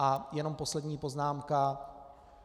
A jenom poslední poznámka.